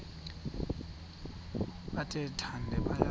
bathe thande phaya